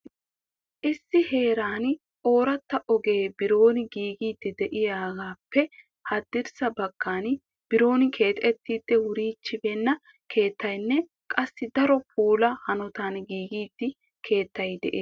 issi heeran oorata ogee biron giigidi de'iyaappe haddirssa baggan biron keexxetidi wurichchibeena keettaynne qassi daro puula hanotan giigida keettay de'ees.